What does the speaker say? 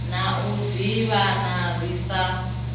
na u ḓivhana ri sa